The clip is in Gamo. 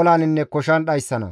olaninne koshan dhayssana.